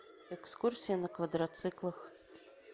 экскурсия на квадроциклах